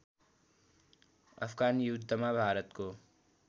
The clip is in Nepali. अफगान युद्धमा भारतको